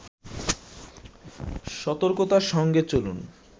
সতকর্তার সঙ্গে চলুন